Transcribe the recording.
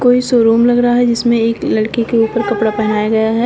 ये शोरूम लग रहा है जिसमें एक लड़की के ऊपर कपड़ा पहनाया गया है।